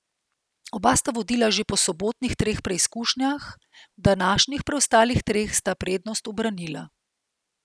Oba sta vodila že po sobotnih treh preizkušnjah, v današnjih preostalih treh sta prednost ubranila.